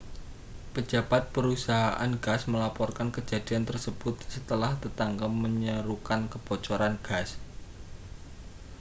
pejabat perusahaan gas melaporkan kejadian tersebut setelah tetangga menyerukan kebocoran gas